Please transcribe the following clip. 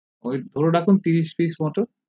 ঐ ধরে রাখুন ত্রিশ pice মতো